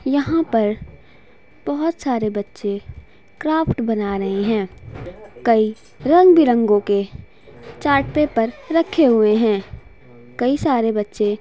यहाँ पर बहुत सारे बच्चे क्राफ्ट बना रहे है कल रंग-बिरंगो के चार्ट पर रखे हुए है कई सारे बच्चे--